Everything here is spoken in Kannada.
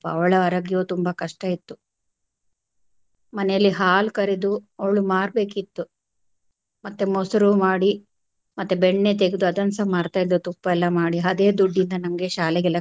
ಅವಳ ಆರೋಗ್ಯವು ತುಂಬಾ ಕಷ್ಟ ಇತ್ತು ಮನೇಲಿ ಹಾಲ್ ಕರೆದು ಅವಳು ಮಾರ್ಬೇಕಿತ್ತು ಮತ್ತೆ ಮೊಸರು ಮಾಡಿ ಮತ್ತೆ ಬೆಣ್ಣೆ ತೆಗ್ದು ಅದನ್ನ ಸಹ ಮಾರ್ತಾ ಇದ್ದಳು ತುಪ್ಪ ಎಲ್ಲಾ ಮಾಡಿ ಅದೆ ದುಡ್ಡಿಂದ ನಮಗೆ ಶಾಲೆಗೆಲ್ಲಾ.